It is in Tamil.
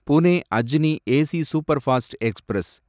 Pune Ajni AC superfast express